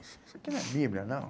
Isso isso aqui não é Bíblia, não.